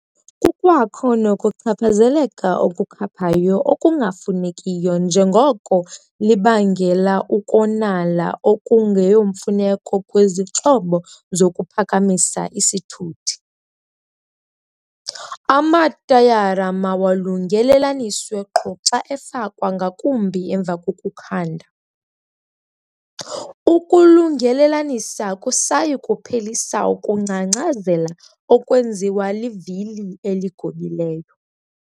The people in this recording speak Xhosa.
Kukwakho nokuchaphazeleka okukhaphayo okungafunekiyo njengoko libangela ukonala okungeyomfuneko kwizixhobo zokuphakamisa isithuthi. Amatayara mawalungelelaniswe qho xa efakwa ngakumbi emva kokukhanda. Ukulungelelanisa akusayi kuphelisa ukungcangcazela okwenziwa livili eligobileyo.